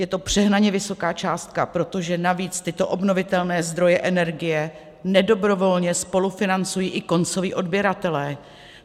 Je to přehnaně vysoká částka, protože navíc tyto obnovitelné zdroje energie nedobrovolně spolufinancují i koncoví odběratelé.